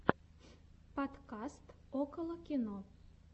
подкаст около кино